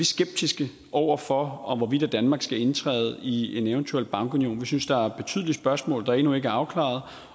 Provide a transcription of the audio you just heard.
skeptiske over for hvorvidt danmark skal indtræde i en eventuel bankunion vi synes der er betydelige spørgsmål der endnu ikke er afklaret